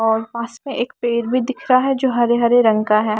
और पास में एक पेड़ भी दिख रहा है जो हरे हरे रंग का है।